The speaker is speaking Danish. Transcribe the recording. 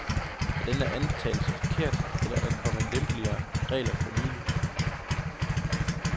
Er denne antagelse forkert, eller er der kommet lempeligere regler for nylig?